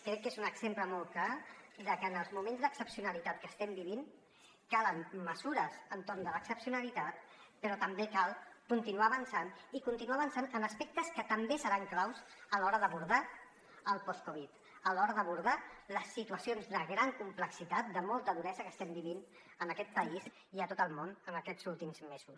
crec que és un exemple molt clar de que en els moments d’excepcionalitat que estem vivint calen mesures per a l’excepcionalitat però també cal continuar avançant i continuar avançant en aspectes que també seran claus a l’hora d’abordar el post covid a l’hora d’abordar les situa cions de gran complexitat de molta duresa que estem vivint en aquest país i a tot el món en aquests últims mesos